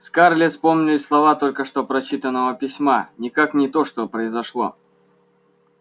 скарлетт вспомнились слова только что прочитанного письма никак не то что произошло